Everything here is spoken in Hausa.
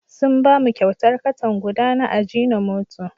Sun ba mu kyautar katan guda na ajinomoto.